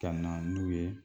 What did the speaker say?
Ka na n'u ye